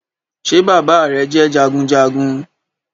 Ṣé bàbá rẹ jẹ́ jagunjagun